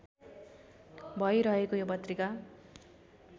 भइरहेको यो पत्रिका